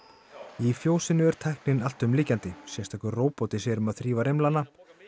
í fjósinu er tæknin alltumlykjandi sérstakur róbóti sér um að þrífa rimlana